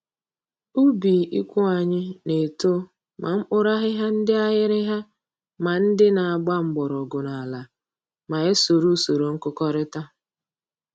Ubi ikwu anyị na-eto ma mkpụrụakụkụ ndị aghịrịgha ma ndị na-agba mgbọrọgwụ n'ala ma e soro usoro nkụkọrịta